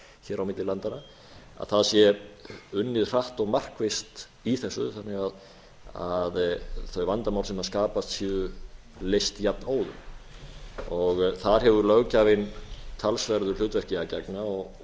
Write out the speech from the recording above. hér á milli landanna að það sé unnið hratt og markvisst í þessu þannig að þau vandamál sem skapast séu leyst jafn óðum þar hefur löggjafinn talsverðu hlutverki að gegna og